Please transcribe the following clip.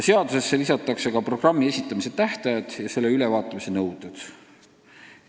Seadusesse lisatakse ka programmi esitamise tähtajad ja selle täitmise ülevaatamise nõuded.